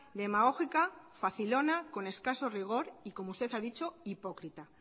demagógica facilona con escaso rigor y como usted ha dicho hipócrita